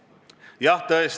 Lugupeetud juhataja!